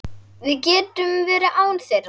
Við getum verið án þeirra.